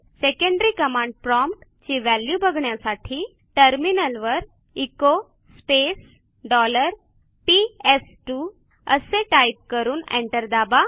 secondary command prompt ची value बघण्यासाठी टर्मिनलवर एचो स्पेस डॉलर पीएस2 असे टाईप करून एंटर दाबा